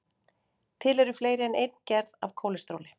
Til eru fleiri en ein gerð af kólesteróli.